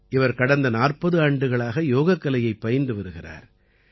இவர் கடந்த 40 ஆண்டுகளாக யோகக்கலையைப் பயின்று வருகிறார்